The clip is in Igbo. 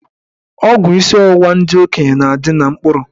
Ọgwụ isi ọwụwa ndị okenye na-adị na mkpụrụ.